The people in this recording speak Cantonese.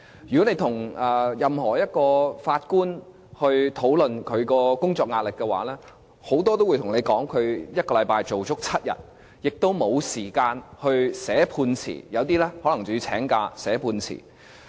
如果你與法官討論他們的工作壓力的話，許多都會向你表示，他們是1星期做足7天，亦都沒有時間寫判詞，有一些法官更可能要請假寫判詞。